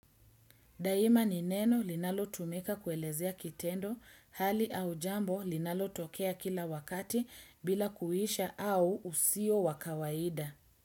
Daima ni neno linalo tumeka kuelezea kitendo, hali au jambo linalo tokea kila wakati bila kuisha au usio wakawaida.